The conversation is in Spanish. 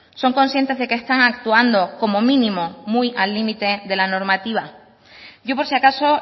son conscientes de que están actuando como mínimo muy al límite de la normativa yo por si acaso